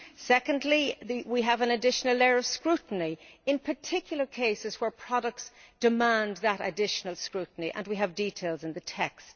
Secondly, we have an additional layer of scrutiny in particular cases where products demand that additional scrutiny, and we have details in the text.